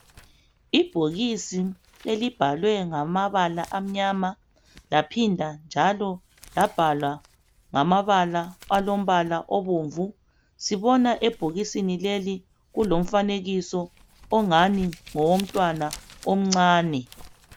Ibhokisi elibhalwe ngamabala amnyama laphinda njalo labhalwa ngamabala alombala obomvu. Sibona ebhokisini leli kulomfanekiso ngani ngowomntwana omncani.